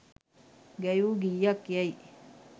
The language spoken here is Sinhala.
ගැයූ ගීයක් යැයි